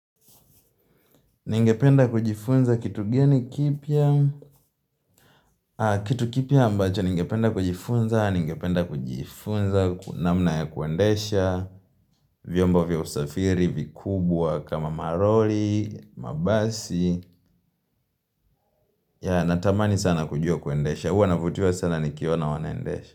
Ningependa kujifunza kitu geni kipya Kitu kipya ambacho ningependa kujifunza Ningependa kujifunza ku namna ya kuendesha vyombo vya usafiri, vikubwa kama malori, mabasi natamani sana kujua kuendesha huwa navutiwa sana nikiona wanaendesha.